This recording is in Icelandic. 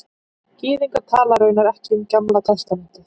Gyðingar tala raunar ekki um Gamla testamentið